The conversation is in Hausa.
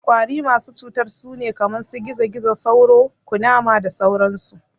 Ƙwari masu cutar sune kaman su, gizo-gizo, sauro, Ƙunama da sauran su